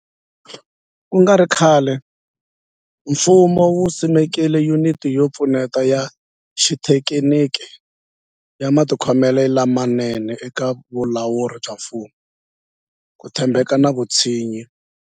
Ku nga ri khale, mfumo wu simeke Yuniti yo Pfuneta ya Xithekiniki ya Matikhomelo lamanene eka Vulawuri bya Mfumo, Ku tshembeka na Vutshinyi.